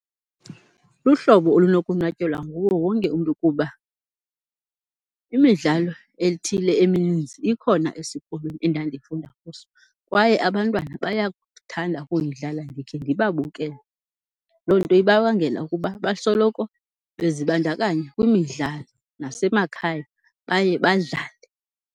Luhlobo olunokonwatyelwa nguwo wonke umntu kuba imidlalo ethile emininzi ikhona esikolweni endandifunda kuso kwaye abantwana bayakuthanda ukuyidlala ndikhe ndibabukele. Loo nto ibabangela ukuba basoloko bezibandakanya kwimidlalo, nasemakhaya baye badlale.